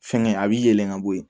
Fɛnkɛ a b'i yɛlɛ ka bɔ yen